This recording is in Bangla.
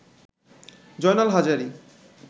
জয়নাল হাজারি